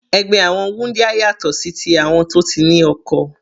Ẹgbẹ́ àwọn wúndíá yàtọ̀ sí ti àwọn tó ti ní oko.